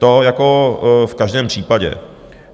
To jako v každém případě.